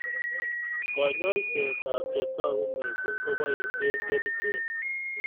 Konyoisetab che togu missing keboisie kerchek